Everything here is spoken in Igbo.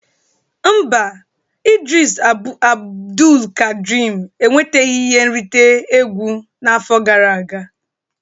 Mba, Idris Abdulkadrim enwetaghị ihe nrite egwu n'afọ gara aga